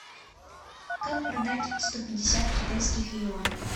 как продать сто пятьдесят китайских юаней